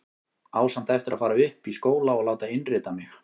Á samt eftir að fara upp í skóla og láta innrita mig.